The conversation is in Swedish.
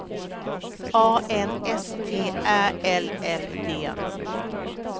A N S T Ä L L D